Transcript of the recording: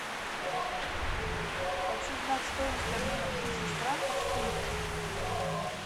хочу знать стоимость обмена тысячи франков в фунтах